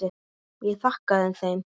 Ég þakkaði þeim fyrir.